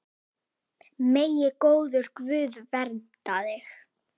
Megi góður Guð vernda þig.